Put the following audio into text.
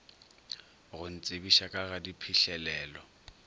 go ntsebiša ka ga diphihlelelo